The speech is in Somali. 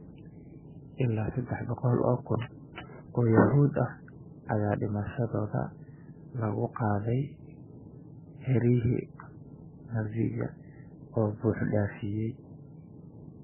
Ilaa seddax boqol oo kun oo Yuhuud ah ayaa dhimashadooda lagu qaaday xeryihii Nazi-ga ee buux dhaafiyay.